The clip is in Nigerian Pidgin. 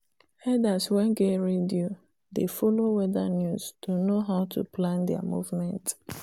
herders wen get radio dey follow weather news to know how to plan their movement